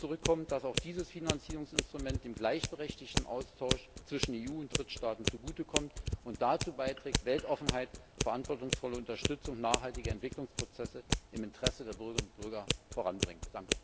Dazu kommt, dass auch dieses Finanzierungsinstrument dem gleichberechtigten Austausch zwischen der EU und Drittstaaten zugute kommt und dazu beiträgt, Weltoffenheit und verantwortungsvolle Unterstützung nachhaltiger Entwicklungsprozesse im Interesse der Bürgerinnen und Bürger voranzubringen.